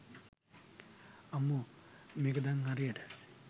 අම්මෝ මේක දන් හරියට